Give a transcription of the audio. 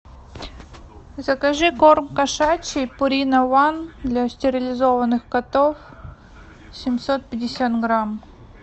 закажи корм кошачий пурина ван для стерилизованных котов семьсот пятьдесят грамм